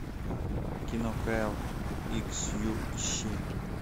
кино кайл икс ю ищи